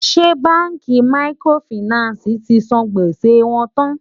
ṣé bánkì màkìrófinààsí tí sàn gbèsè wón tán?